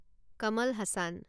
Kamal Hasan